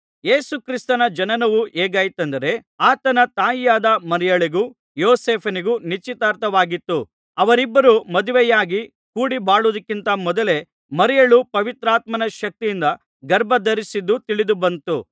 ಯೇಸು ಕ್ರಿಸ್ತನ ಜನನವು ಹೇಗಾಯಿತಂದರೆ ಆತನ ತಾಯಿಯಾದ ಮರಿಯಳಿಗೂ ಯೋಸೇಫನಿಗೂ ನಿಶ್ಚಿತಾರ್ಥವಾಗಿತ್ತು ಅವರಿಬ್ಬರೂ ಮದುವೆಯಾಗಿ ಕೂಡಿಬಾಳುವುದಕ್ಕಿಂತ ಮೊದಲೇ ಮರಿಯಳು ಪವಿತ್ರಾತ್ಮನ ಶಕ್ತಿಯಿಂದ ಗರ್ಭಧರಿಸಿದ್ದು ತಿಳಿದುಬಂತು